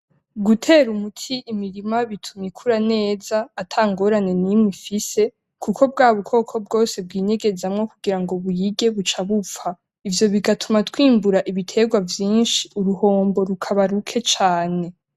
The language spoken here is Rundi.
Gutera umuti imirima bituma ikura neza ata ngorane n'imwe ifise kuko bwa bukoko bwose bwinyegezamwo kugira ngo buyirye buca bupfa. Ivyo bigatuma twimbura ibiterwa vyinshi uruhombo rukaba ruke cane.